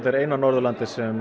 er eina Norðurlandið sem